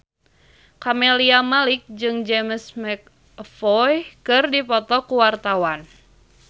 Camelia Malik jeung James McAvoy keur dipoto ku wartawan